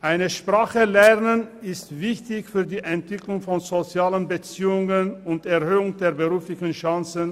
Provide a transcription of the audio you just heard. Eine Sprache zu lernen ist wichtig für die Entwicklung von sozialen Beziehungen und für die Erhöhung der beruflichen Chancen.